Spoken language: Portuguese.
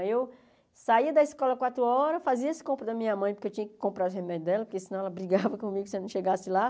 Aí eu saía da escola às quatro horas, fazia as compras da minha mãe, porque eu tinha que comprar os remédios dela, porque senão ela brigava comigo se eu não chegasse lá.